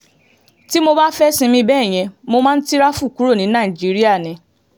tí mo bá fẹ́ẹ́ sinmi bẹ́ẹ̀ yẹn mo máa ń tirafù kúrò ní nàìjíríà ni